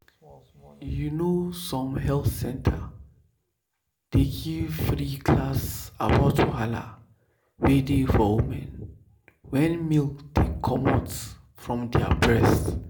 you know some health center dey give free class about wahala wey dey for women wen milk dey comot from their breast.